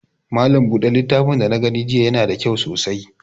Malam buɗe littafin da na gani jiya ya na da kyau sosai